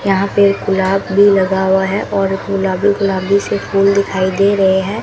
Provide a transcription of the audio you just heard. यहां पे गुलाब भी लगा हुआ है और गुलाबी गुलाबी से फूल दिखाई दे रहे हैं।